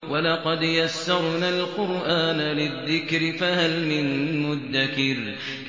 وَلَقَدْ يَسَّرْنَا الْقُرْآنَ لِلذِّكْرِ فَهَلْ مِن مُّدَّكِرٍ